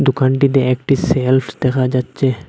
দোকানটিতে একটি সেলফ দেখা যাচ্চে।